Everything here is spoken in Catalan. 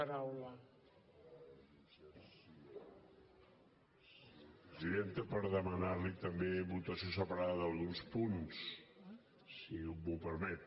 presidenta per demanar li també votació separada d’alguns punts si m’ho permet